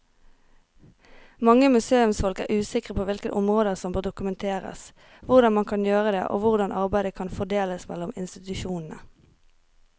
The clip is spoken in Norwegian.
Mange museumsfolk er usikre på hvilke områder som bør dokumenteres, hvordan man kan gjøre det og hvordan arbeidet kan fordeles mellom institusjonene.